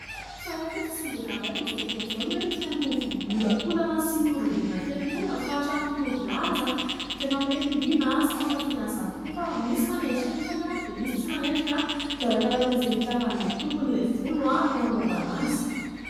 Fa ay reto tsy ny vehivavy ihany amin'izao fotoana izao no hoe tia an' itony volo miolakolana sy miorongorona kely itony, fa hatramin'ny tovolahy aza dia tena hoe liana sy mankafy an'izany tokoa. Fa misy manendrika anefa dia misy tsy manendrika. Dia arakarakan'izay hitiavan'ilay tompon'ilay volo no anaovany azy.